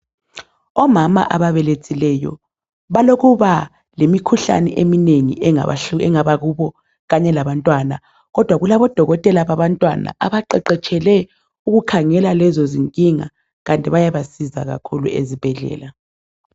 Omama ababelethileyo balokuba lemikhuhlane eminengi engaba kubo kanye labantwana kodwa kulabodokotela babantwana abaqeqetshele ukukhangela lezo zinkinga kanti bayabasiza kakhulu ezibhedlela.